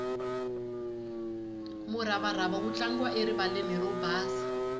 muravarava wu tlangiwa erivaleni ro basa